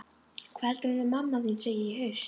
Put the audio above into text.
Hvað heldurðu að hún mamma þín segi í haust?